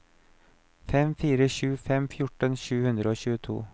fem fire sju fem fjorten sju hundre og tjueto